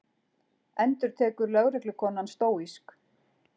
endurtekur lögreglukonan stóísk.